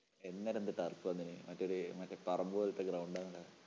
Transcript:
അന്നേരം എന്ത് turff വന്നേ. മറ്റേ ഒരു മറ്റേ ഒരു പറമ്പ് പോലത്തെ ground ആണെടാ